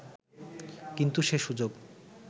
কিন্তু সে সুযোগ